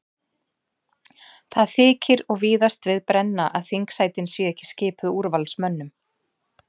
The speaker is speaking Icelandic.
Það þykir og víðast við brenna að þingsætin séu ekki skipuð úrvalsmönnum.